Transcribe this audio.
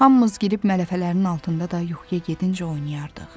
Hamımız girib mələfələrin altında da yuxuya gedincə oynayardıq.